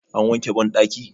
an wanke bandaki?